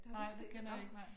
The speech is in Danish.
Nej det kender jeg ikke nej